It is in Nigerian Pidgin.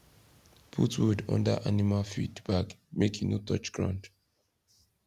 put wood under animal feed bag make e no touch ground